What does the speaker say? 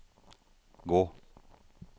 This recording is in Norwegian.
gå